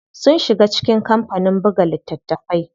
Sun shiga cikin kampanin buga littatafai.